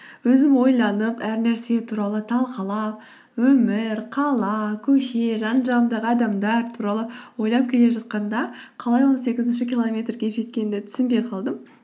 өзім ойланып әр нәрсе туралы талқылап өмір қала көше жан жағымдағы адамдар туралы ойлап келе жатқанда қалай он сегізінші километрге жеткенімді түсінбей қалдым